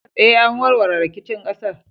Eh, an warware rikicin ƙasar.